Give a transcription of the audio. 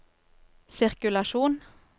sirkulasjon